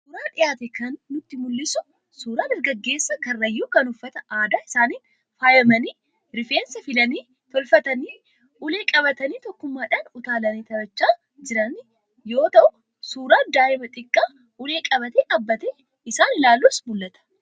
Suuraan dhiyaate kan nutti mul'isu, suuraa dargaggeessa Karrayyuu kan uffata aadaa isaaniin faayamanii, rifeensa filanii tolfatanii, ulee qabatanii tokkummaadhaan utaalanii taphachaa jiranii jiranii yoo ta'u, suuraan daa'ima xiqqaa ulee qabatee dhaabatee isaan ilaaluus ni mul'ata.